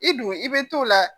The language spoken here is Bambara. I dun i bɛ t'o la